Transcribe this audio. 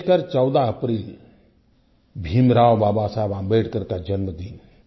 विशेष कर 14 अप्रैल भीमराव बाबा साहिब अम्बेडकर का जन्मदिन